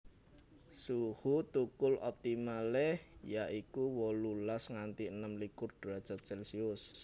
Suhu thukul optimale ya iku wolulas nganti enem likur derajat celsius